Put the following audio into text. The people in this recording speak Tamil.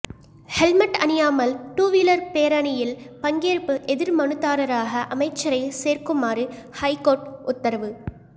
ஹெல்மெட் அணியாமல் டூவீலர் பேரணியில் பங்கேற்பு எதிர் மனுதாரராக அமைச்சரை சேர்க்குமாறு ஐகோர்ட் உத்தரவு